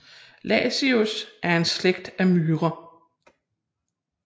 Lasius er en slægt af myrer